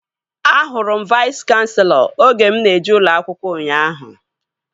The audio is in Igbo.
Ahụrụ m Vais kanselọ oge mụ na-eje ụlọ akwụkwọ ụnyaahụ